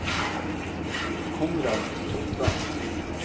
Konrad Totland